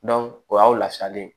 o y'aw lafiyalen ye